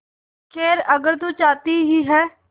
खैर अगर तू चाहती ही है